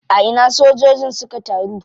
A ina sojojin suka taru?